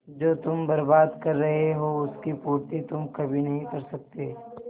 जो तुम बर्बाद कर रहे हो उसकी पूर्ति तुम कभी नहीं कर सकते